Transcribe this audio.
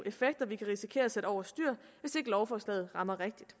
effekter vi kan risikere at sætte over styr hvis ikke lovforslaget rammer rigtigt